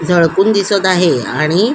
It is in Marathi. झळकून दिसत आहे आणि--